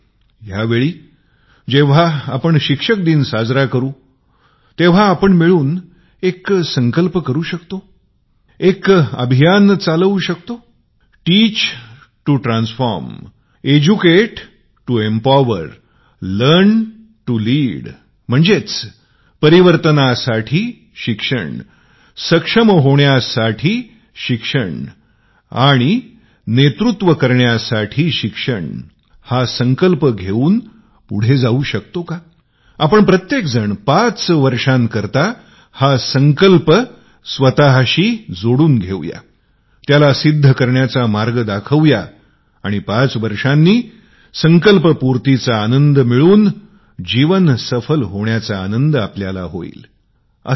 यावेळी जेंव्हा आपण शिक्षक दिवस साजरा करू तेंव्हा आपण मिळून एक संकल्प करू शकतो कालबद्धरितीने अभियान आपण चालू या का परिवर्तनासाठी शिकवा प्रोत्साहनात्मक शिक्षण द्या आणि नेतृत्वासाठी शिका या संकल्पासोबत ही गोष्ट पुढे नेऊ शकतो का प्रत्येकाला पाच वर्षासाठी एका संकल्पाशी बांधू या त्याला सिद्ध करण्याचा मार्ग दाखवू या आणि पाच वर्षांनी आपण संकल्प पूर्तीचा आनंद घेऊन जीवन सफल होण्याचा आनंद होऊ शकेल